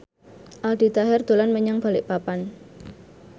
Aldi Taher dolan menyang Balikpapan